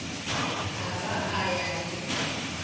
a ba a ya le